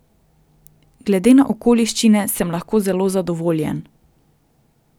Glede na okoliščine sem lahko zelo zadovoljen.